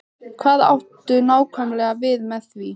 Hvað áttu nákvæmlega við með því?